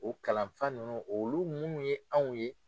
O kalanfa ninnu olu minnu ye anw ye